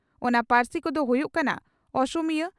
ᱚᱱᱟ ᱯᱟᱹᱨᱥᱤ ᱠᱚᱫᱚ ᱦᱩᱭᱩᱜ ᱠᱟᱱᱟ ᱺᱼ ᱚᱥᱚᱢᱤᱭᱟᱹ